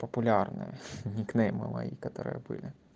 популярные никнеймы мои которые были